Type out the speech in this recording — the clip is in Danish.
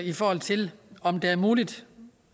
i forhold til om det er muligt